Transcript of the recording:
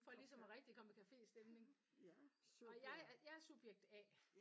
For ligesom og rigtig at komme i café stemning og jeg er jeg er subjekt A